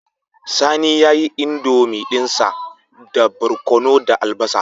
Sani yayi indomie dinsa da barkono da albasa